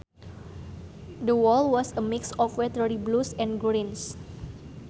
The wall was a mix of watery blues and greens